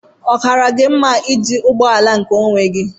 Ọ Kara gị mma iji ụgbọ ala nkeonwe gi?